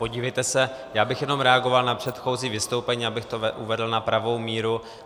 Podívejte se, já bych jenom reagoval na předchozí vystoupení, abych to uvedl na pravou míru.